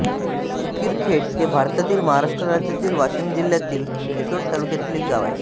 उकिरखेड हे भारतातील महाराष्ट्र राज्यातील वाशिम जिल्ह्यातील रिसोड तालुक्यातील एक गाव आहे